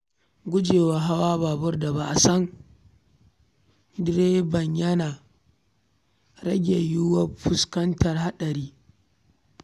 Gujewa hawa babur da ba a san direban ba yana rage yiyuwar fuskantar haɗari.